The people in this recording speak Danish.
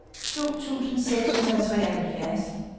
to tusind seks hundrede og treoghalvfjerds